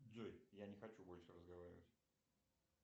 джой я не хочу больше разговаривать